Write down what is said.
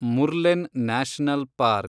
Murlen national park